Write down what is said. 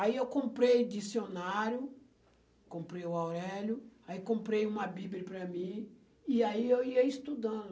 Aí eu comprei dicionário, comprei o Aurélio, aí comprei uma Bíblia para mim, e aí eu ia estudando.